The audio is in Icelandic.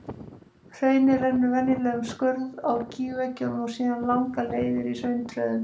Hraunið rennur venjulega um skörð á gígveggjunum og síðan langar leiðir í hrauntröðum.